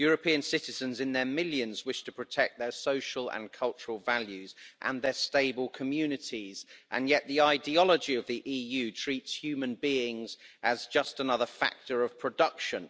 European citizens in their millions wish to protect their social and cultural values and their stable communities, yet the ideology of the EU treats human beings as just another factor of production.